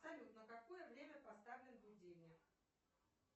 салют на какое время поставлен будильник